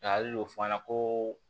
Nka hakili bɛ f'a ɲɛna ko